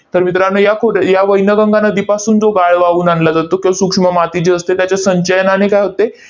तर मित्रांनो, या खोरे या वैनगंगा नदीपासून जो गाळ वाहून आणला जातो, तो सूक्ष्म माती जी असते त्याच्या संचयनाने काय होते?